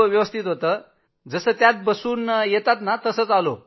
व्यवस्थित होतो जसं त्यात बसून येतात तसंच आलो